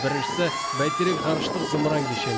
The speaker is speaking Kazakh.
біріншісі бәйтерек ғарыштық зымыран кешені